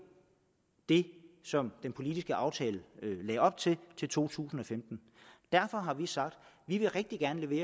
det som den politiske aftale lægger op til til to tusind og femten derfor har vi sagt at vi rigtig gerne vil